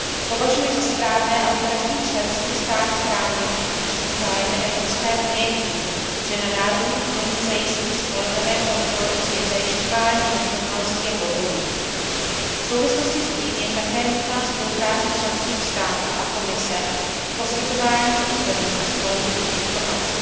Považuji za správné, aby každý členský stát chránil finanční zájmy Evropské unie tím, že na národní úrovni zajistí spolehlivé kontroly při zjišťování nesrovnalostí a podvodů. V souvislosti s tím je také nutná spolupráce členských států a Komise v poskytování úplných a spolehlivých informací.